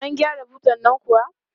An gyara butan nan kuwa?